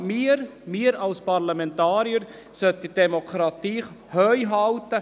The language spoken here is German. Genau wir, wir als Parlamentarier, sollten die Demokratie hochhalten.